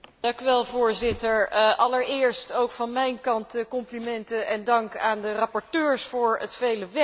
Voorzitter, allereerst ook van mijn kant de complimenten en dank aan de rapporteurs voor het vele werk.